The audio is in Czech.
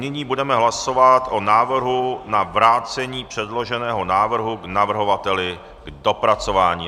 Nyní budeme hlasovat o návrhu na vrácení předloženého návrhu navrhovateli k dopracování.